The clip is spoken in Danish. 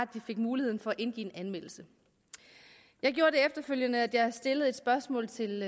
de fik muligheden for at indgive en anmeldelse jeg gjorde efterfølgende det at jeg stillede et spørgsmål til